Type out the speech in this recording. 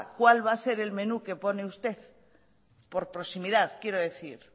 cuál va a ser el menú que pone usted por proximidad quiero decir